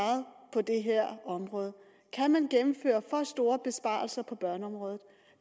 på det her område kan man gennemføre for store besparelser på børneområdet